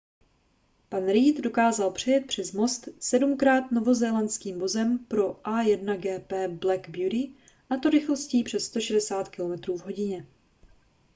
pan reid dokázal přejet přes most sedmkrát novozélandským vozem pro a1gp black beauty a to rychlostí přes 160 km/h